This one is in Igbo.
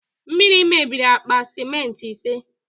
Mmiri mebiri akpa sementị ise